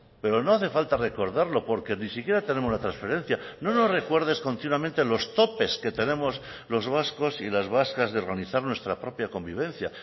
pero no hace falta recordarlo porque ni siquiera tenemos la transferencia no nos recuerdes continuamente los topes que tenemos los vascos y las vascas de organizar nuestra propia convivencia